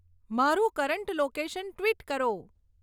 મારું current location tweet કરો